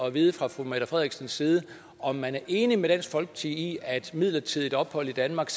at vide fra fru mette frederiksens side om man er enig med dansk folkeparti i at et midlertidigt ophold i danmark